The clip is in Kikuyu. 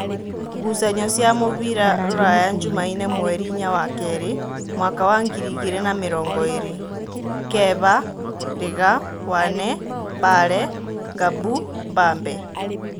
Ngucanio cia mũbira Ruraya Jumaine mweri inya wakeeri mwaka wa ngiri igĩrĩ na namĩrongoĩrĩ: Keba, Riga, Wane, Mbale, Ngabu, Mbambe